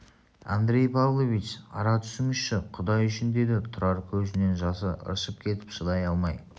андрей павлович ара түсіңізші құдай үшін деді тұрар көзінен жасы ыршып кетіп шыдай алмай